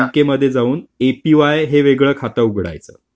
त्या बँकेमध्ये जाऊन एपीवाय हे वेगळं खाते उघडायचं.